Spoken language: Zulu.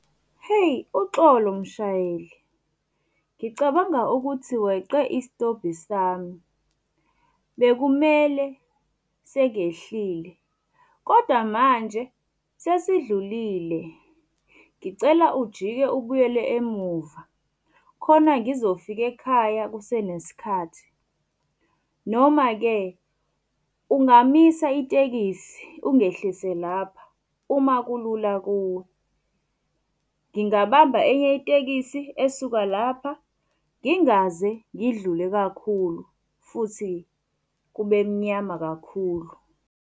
Heyi, uxolo mshayeli. Ngicabanga ukuthi weqe isitobhi sami. Bekumele sengehlile, kodwa manje sesidlulile. Ngicela ujike ubuyele emuva, khona ngizofika ekhaya kusenesikhathi. Noma-ke ungamisa itekisi ungehlise lapha, uma kulula kuwe. Ngingabamba enye itekisi esuka lapha, ngingaze ngidlule kakhulu futhi kube mnyama kakhulu.